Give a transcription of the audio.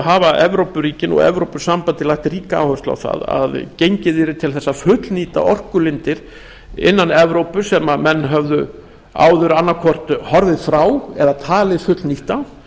hafa evrópuríkin og evrópusambandið lagt ríka áherslu á það að gengið yrði til þess að fullnýta orkulindir innan evrópu sem menn höfðu áður annaðhvort horfið frá eða talið fullnýta